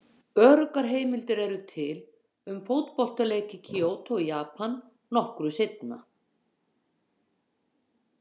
Öruggar heimildir eru til um fótboltaleik í Kyoto í Japan nokkru seinna.